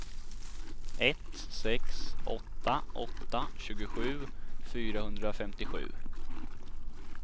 ett sex åtta åtta tjugosju fyrahundrafemtiosju